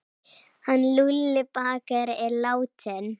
Hann Lúlli bakari er látinn.